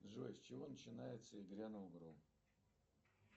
джой с чего начинается и грянул гром